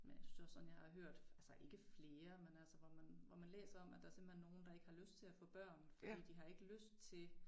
Men jeg synes også sådan jeg har hørt altså ikke flere men altså hvor man hvor man læser om at der simpelthen nogen der ikke har lyst til at få børn fordi de har ikke lyst til